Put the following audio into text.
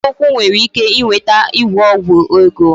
Anya ukwu nwere ike iweta ịgwọ ọgwụ ego